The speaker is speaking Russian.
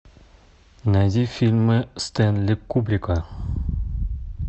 найди фильмы стэнли кубрика